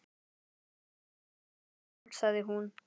Ekki veitir þér af, sagði hún.